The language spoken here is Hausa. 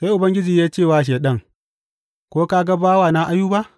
Sai Ubangiji ya ce wa Shaiɗan, Ko ka ga bawana Ayuba?